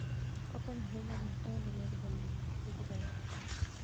Okonyo ahinya e miyo taonde mag dho nam obed gi dongruok.